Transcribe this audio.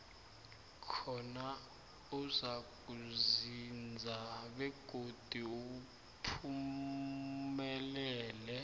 khona uzakuzinza begodi uphumelele